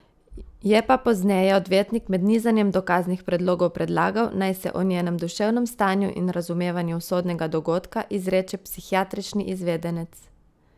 Je pa pozneje odvetnik med nizanjem dokaznih predlogov predlagal, naj se o njenem duševnem stanju in razumevanju usodnega dogodka izreče psihiatrični izvedenec.